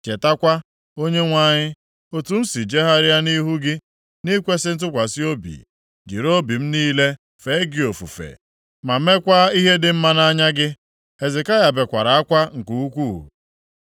“Chetakwa, Onyenwe anyị, otu m si jegharịa nʼihu gị nʼikwesị ntụkwasị obi, jiri obi m niile fee gị ofufe, ma meekwa ihe dị mma nʼanya gị.” Hezekaya bekwara akwa nke ukwuu.